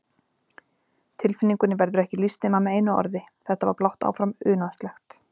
Tilfinningunni verður ekki lýst nema með einu orði, þetta var blátt áfram unaðslegt.